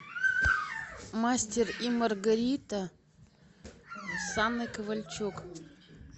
мастер и маргарита с анной ковальчук